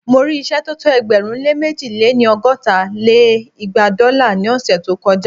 Mo rí ìṣẹ́ tó tó ẹgbẹ̀rún lé mẹ̀ji lé-ní- ọgọ́ta lé igba dọ́là ní ọ̀ṣẹ̀ tó kọ já